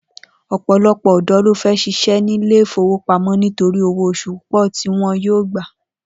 Ò̩pò̩lo̩pò̩ ò̩dó̩ ló fé̩ s̩is̩é̩ ní ilé ìfowópamó̩ nítorí owó os̩ù púpò̩ ti wo̩n yóò gbà